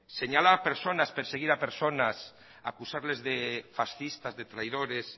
señalar a personas perseguir a personas acusarles de fascistas de traidores